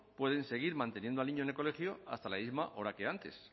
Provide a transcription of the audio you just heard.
pueden seguir manteniendo al niño en el colegio hasta la misma hora que antes